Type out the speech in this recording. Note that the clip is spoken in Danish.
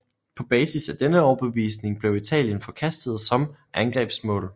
På basis af denne overbevisning blev Italien forkastet som angrebsmål